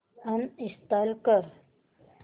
uninstall कर